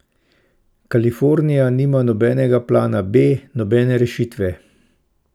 Kalifornija nima nobenega plana B, nobene rešitve.